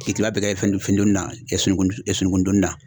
K'i kila bɛɛ kɛ fɛn fɛn donina sunukun sununkun donina.